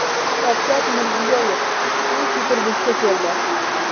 Shavkat Mirziyoyev Sankt-Peterburgga keldi.